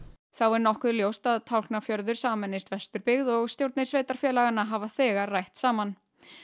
þá er nokkuð ljóst að Tálknafjörður sameinist Vesturbyggð og stjórnir sveitarfélaganna hafa þegar rætt saman